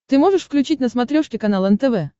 ты можешь включить на смотрешке канал нтв